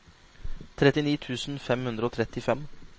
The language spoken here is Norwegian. trettini tusen fem hundre og trettifem